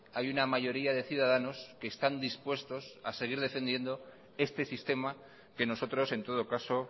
hay una mayoría de ciudadanos que están dispuestos a seguir defendiendo este sistema que nosotros en todo caso